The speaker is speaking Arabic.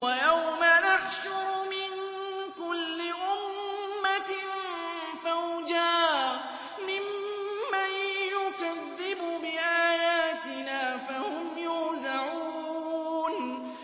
وَيَوْمَ نَحْشُرُ مِن كُلِّ أُمَّةٍ فَوْجًا مِّمَّن يُكَذِّبُ بِآيَاتِنَا فَهُمْ يُوزَعُونَ